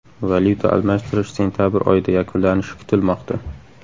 Valyuta almashtirish sentabr oyida yakunlanishi kutilmoqda.